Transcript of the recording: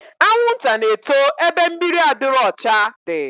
Anwụnta na-eto ebe mmiri adịrọ ọcha dị